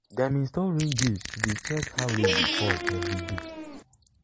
dem install rain gauge to dey check how rain dey fall every day.